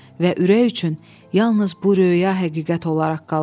və ürək üçün yalnız bu röya həqiqət olaraq qalıb.